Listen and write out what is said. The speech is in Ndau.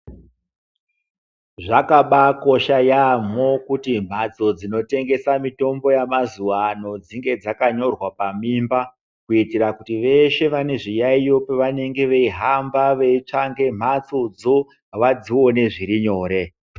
Zvakabayi kosha yaano kuti mhatso dzinotengesa mitombo yemazuva ano dzine dzakanyorwa pamimba kuitira kuti veshe vanezviyayiyo pavanenge veyihamba veitsvake mhatso dzoo vadzione zviri nyore.